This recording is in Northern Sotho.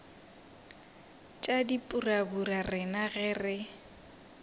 tša dipurabura rena ge re